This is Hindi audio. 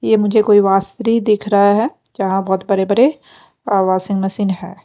ये मुझे कोई वास्त्री दिख रहा है जहाँ बहुत बरे बरे वाशिंग मशीन है।